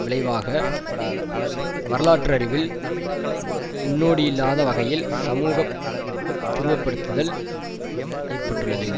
விளைவாக வரலாற்றளவில் முன்னோடியில்லாத வகையில் சமூகத்துருவப்படுத்துதல் ஏற்பட்டுள்ளது